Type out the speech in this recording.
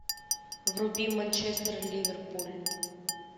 вруби манчестер ливерпуль